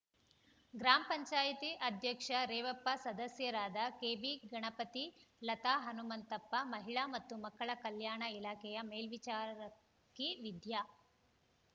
ಗ್ರಾಮ ಪಂಚಾಯತಿ ಅಧ್ಯಕ್ಷ ರೇವಪ್ಪ ಸದಸ್ಯರಾದ ಕೆಬಿ ಗಣಪತಿ ಲತಾ ಹನುಮಂತಪ್ಪ ಮಹಿಳಾ ಮತ್ತು ಮಕ್ಕಳ ಕಲ್ಯಾಣ ಇಲಾಖೆಯ ಮೇಲ್ವಿಚಾರಕಿ ವಿದ್ಯಾ